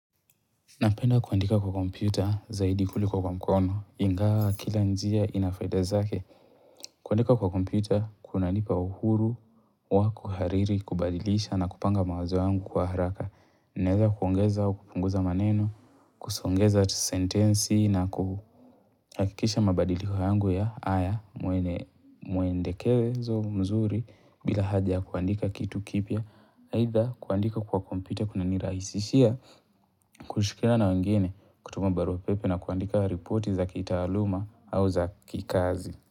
Napenda kuandika kwa kompyuta zaidi kuliko kwa mkono, ingawa kila njia inafaida zake. Kuandika kwa kompyuta, kuna nipa uhuru, wa kuhariri, kubadilisha na kupanga mawazo yangu kwa haraka. Naeza kuongeza au kupunguza maneno, kusongeza sentensi na kuhakikisha mabadiliko yangu ya haya muendekewe izo mzuri bila haja kuandika kitu kipya. Haidha kuandika kwa kompyuta kuna nirahisishia kushikiana na wengine kutuma barua pepe na kuandika ripoti za kitaaluma au za kikazi.